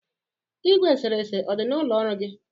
Igwe eserese ọ dị n'ụlọ ọrụ gi?